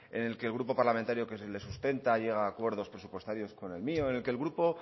en el que el grupo parlamentario que es el del sustenta llega a acuerdos presupuestarios con el mío en el que el grupo